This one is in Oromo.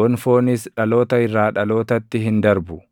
gonfoonis dhaloota irraa dhalootatti hin darbu.